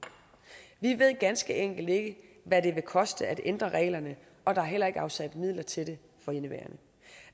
vi ved ganske enkelt ikke hvad det vil koste at ændre reglerne og der er heller ikke afsat midler til det for indeværende